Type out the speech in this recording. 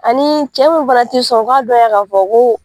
Ani cɛ min fana tɛ sɔn u k'a dɔnya k'a fɔ ko.